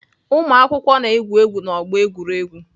Ụmụakwụkwọ na-egwu egwu n'ọgbọ egwuregwu.